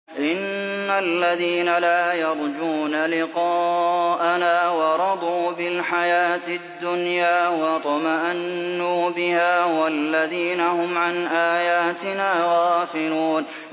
إِنَّ الَّذِينَ لَا يَرْجُونَ لِقَاءَنَا وَرَضُوا بِالْحَيَاةِ الدُّنْيَا وَاطْمَأَنُّوا بِهَا وَالَّذِينَ هُمْ عَنْ آيَاتِنَا غَافِلُونَ